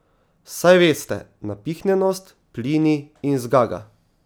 Saj veste, napihnjenost, plini in zgaga.